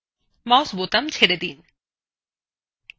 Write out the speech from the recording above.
mouse বোতাম ছেড়ে দিন